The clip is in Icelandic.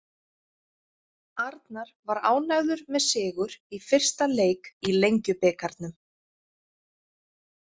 Arnar var ánægður með sigur í fyrsta leik í Lengjubikarnum.